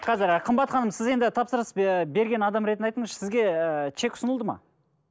қазір ы қымбат ханым сіз енді тапсырыс ы берген адам ретінде айтыңызшы сізге ыыы чек ұсынылды ма